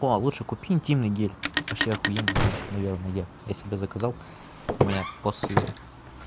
о лучше купи интимный гель вообще ахуенная вещь наверное я я себе заказал у меня после